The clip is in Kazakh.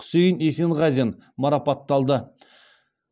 құсейін есенғазин марапатталды